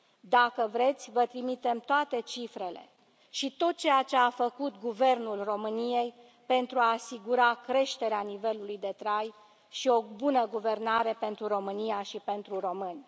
Dacă vreți, vă trimitem toate cifrele și tot ceea ce a făcut Guvernul României pentru a asigura creșterea nivelului de trai și o bună guvernare pentru România și pentru români.